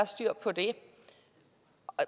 styr på det